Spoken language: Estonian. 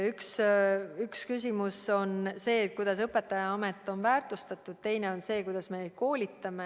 Üks küsimus on see, kuidas õpetajaamet on väärtustatud, ja teine on see, kuidas me koolitame.